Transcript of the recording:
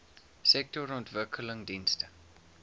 sektorontwikkelingdienste